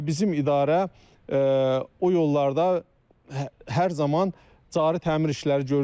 Və bizim idarə o yollarda hər zaman cari təmir işləri görür.